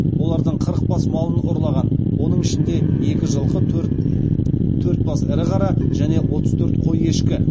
олардың қырық бас малын ұрлаған оның ішінде екі жылқы төрт бас ірі қара және отыз төрт қой ешкі